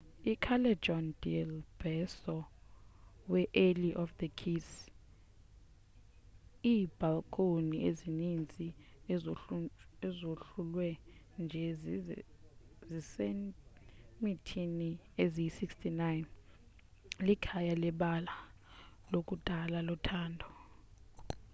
iicallejon del beso we-alley of the kiss. iibhalkhoni ezimbini ezohlulwe nje ziisentimitha eziyi-69 likhaya lebali lakudala lothando